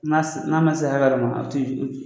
N'a n'a ma se hakɛ dɔ ma a ti